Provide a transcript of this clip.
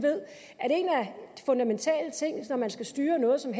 fundamentale ting når man skal styre noget som